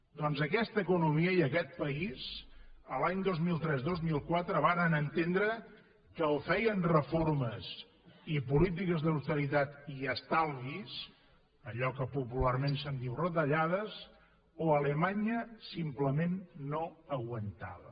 doncs aquesta economia i aquest país l’any dos mil tres dos mil quatre varen entendre que o feien reformes i polítiques d’austeritat i estalvis allò que popularment se’n diu retallades o alemanya simplement no aguantava